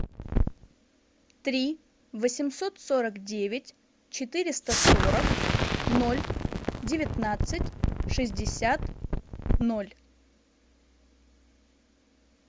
три восемьсот сорок девять четыреста сорок ноль девятнадцать шестьдесят ноль